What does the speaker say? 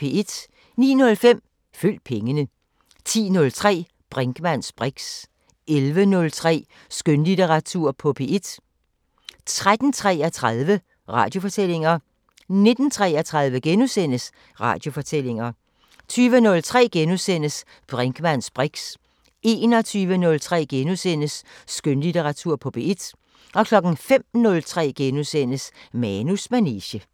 09:05: Følg pengene 10:03: Brinkmanns briks 11:03: Skønlitteratur på P1 13:33: Radiofortællinger 19:33: Radiofortællinger * 20:03: Brinkmanns briks * 21:03: Skønlitteratur på P1 * 05:03: Manus manege *